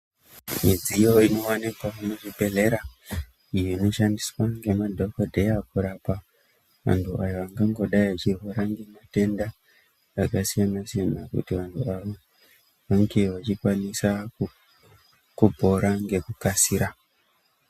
Midziyo inowanikwa muzvibhedhlera, iyo inoshandiswa ngemadhokodheya kurapa, anhu ayo angangodai echirwara ngematenda akasiyana-siyana ,kuti vanhu avo vange vachikwanisa kupora ngekukasira.